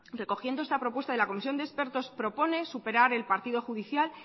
recogiendo este propuesta de la comisión de expertos propone superar el partido judicial